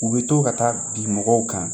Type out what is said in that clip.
U bɛ to ka taa bi mɔgɔw kan